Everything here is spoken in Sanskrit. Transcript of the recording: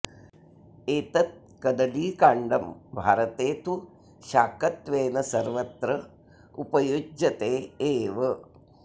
एतत् कदलीकाण्डं भारते तु शाकत्वेन सर्वत्र उपयुज्यते एव